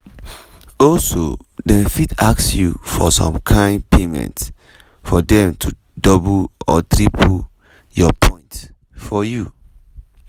"also dem fit ask you for some kain payment for dem to double or triple your points for you.